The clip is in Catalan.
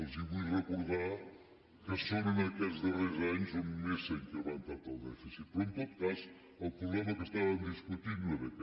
els vull recordar que són en aquests darrers anys on més s’ha incrementat el dèficit però en tot cas el problema que estàvem discutint no era aquest